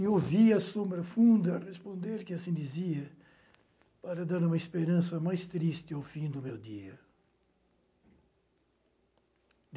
E ouvia a sombra funda responder, que assim dizia, para dar uma esperança mais triste ao fim do meu dia.